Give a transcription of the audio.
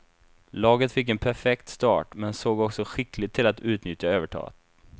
Laget fick en perfekt start, men såg också skickligt till att utnyttja övertaget.